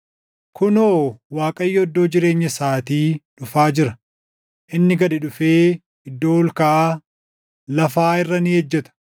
Kunoo! Waaqayyo iddoo jireenya isaatii dhufaa jira; inni gad dhufee iddoo ol kaʼaa lafaa irra ni ejjeta.